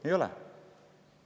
Ei ole!